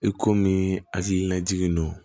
I komi hakilinajiginnen don